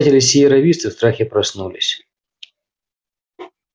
обитатели сиерра висты в страхе проснулись